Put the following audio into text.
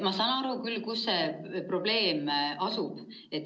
Ma saan aru küll, kus see probleem asub.